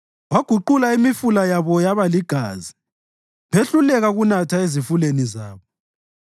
Waguqula imifula yabo yaba ligazi; behluleka ukunatha ezifuleni zabo.